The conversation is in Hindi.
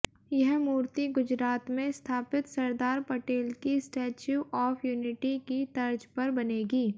यह मूर्ति गुजरात में स्थापित सरदार पटेल की स्टेच्यू ऑफ यूनिटी की तर्ज पर बनेगी